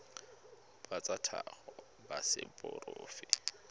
ba tsa tlhago ba seporofe